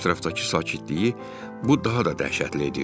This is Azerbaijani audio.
Ətrafdakı sakitliyi bu daha da dəhşətli edirdi.